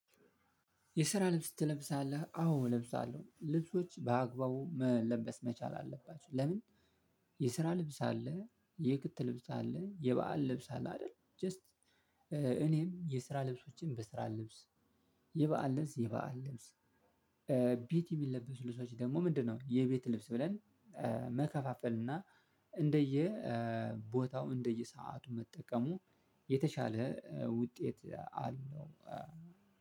የስራ ልብስ ትለብሳለህ አዎ እለብሳለሁ ልብሶች በአግባቡ መለበስ መቻል አለባቸው ለምን? የስራ ልብስ አለ የክት ልብስ አለ የበአል ልብስ አለ አይደል ጀስት። እኔም የስራ ልብሶችን በስራ ልብስ የበአል ልብስ የበአል ልብስ። ቤት የሚለበሱ ልብሶች ደግሞ ምንድነው? የቤት ልብስ ብለን መከፋፈል እና እንደየ ቦታው እንደየሰዓቱ መጠቀሙ የተሻለ ውጤት አለው።